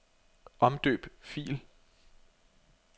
Omdøb fil.